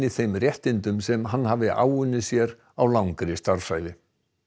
þeim réttindum sem hann hafi áunnið sér á langri starfsævi